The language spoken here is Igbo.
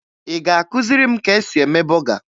Ị ga-akụziri m ka e si eme bọga?